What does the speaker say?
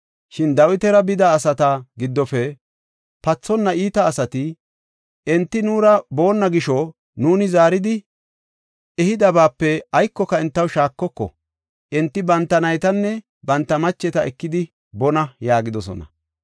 Shin Dawitara bida asata giddofe pathonna iita asati, “Enti nuura boonna gisho nuuni zaaridi ehidabaape aykoka entaw shaakoko; enti banta naytanne banta macheta ekidi boonna” yaagidosona.